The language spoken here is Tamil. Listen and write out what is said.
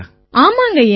ஆமாங்கய்யா